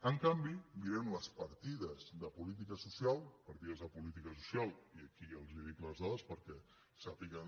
en canvi mirem les partides de política social partides de política social i aquí els dic les dades perquè sàpiguen